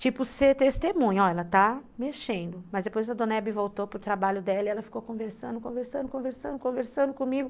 Tipo ser testemunha, ó, ela está mexendo, mas depois a Dona Hebe voltou para o trabalho dela e ela ficou conversando, conversando, conversando, conversando comigo.